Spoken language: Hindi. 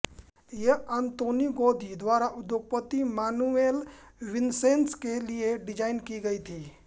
यह आंतोनी गौदी द्वारा उद्योगपती मानुएल विसेंस के लिए डिज़ाइन की गई थी